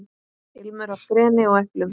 Ilmur af greni og eplum.